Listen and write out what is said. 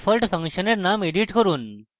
default ফাংশনের name edit করুন